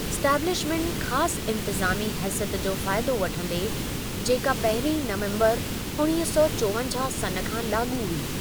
Establishment ख़ासि इन्तिज़ामी हैसियत जो फ़ाइदो वठंदे, जेका पहिरीं नवम्बरु उणिवींह सौ चोवंजाहु सन् खां लाॻू हुई।